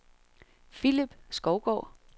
Philip Skovgaard